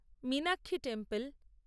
Meenakshi temple